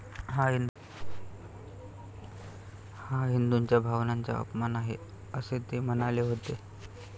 हा हिंदूंच्या भावनांचा अपमान आहे, असे ते म्हणाले होते.